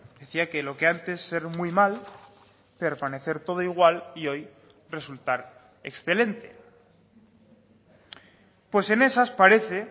decía que lo que antes ser muy mal permanecer todo igual y hoy resultar excelente pues en esas parece